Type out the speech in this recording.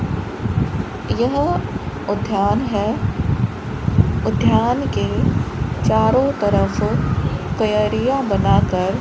यह ऊध्यान है ऊध्यान के चारों तरफ क्यारियां बनाकर --